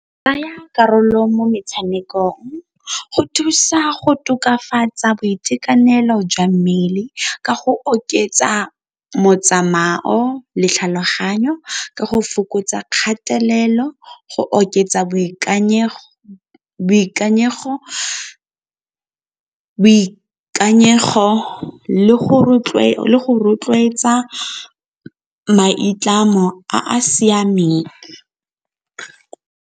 Tsaya karolo mo metshamekong go thusa go tokafatsa boitekanelo jwa mmele ka go oketsa motsamao le tlhaloganyo, ka go fokotsa kgatelelo go oketsa boikanyego le go rotloetsa maitlamo a a siameng.